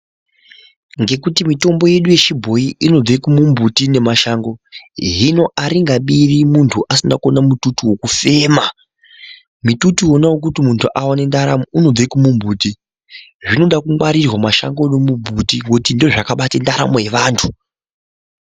Ngekutu mitombo yedu ye chibhoyi inobve ku mbuti ne mashango hino aringabiri muntu asina kuona mututu wekufema mitutu wona wekuti muntu aone ndaramo unobva kumu mbuti zvinoda kungwarirwa mashango nemu mbuti nekuti ndizvo zvakabata ndaramo ye vantu.